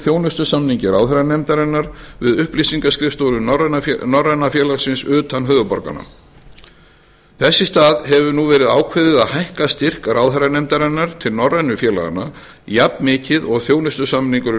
þjónustusamningi ráðherranefndarinnar við upplýsingaskrifstofur norræna félagsins utan höfuðborganna þess í stað hefur nú verið ákveðið að hækka styrk ráðherranefndarinnar til norrænu félaganna jafn mikið og þjónustusamningurinn